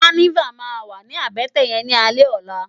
Kànivá mà wá ni àbètè yèn ni álè òlá